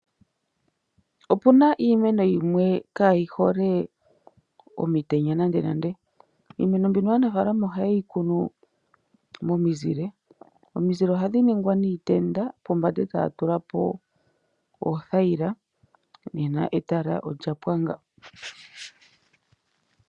Opuna iimeno yimwe kayihole omitenya nande, nande. Iimeno mbika aanafaalama oha ye yi kunu momizile dha ningwa niitenda ya tulwa oothayila pombanda, opo shi ninge etala.